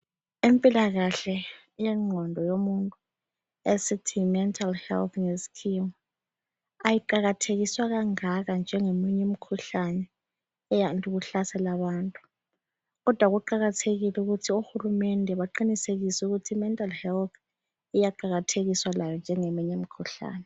Empilakahle yengqondo yomuntu esithi yimental health ngeskhiwa ayiqakathekiswa kangaka njengeminye imikhuhlane eyande ukuhlasela abantu. Kodwa kuqakathekile ukuthi oHulumende baqinisekise ukuthi imental health iyaqakathekiswa layo njengeminye imikhuhlane.